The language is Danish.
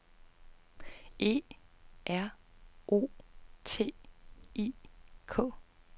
E R O T I K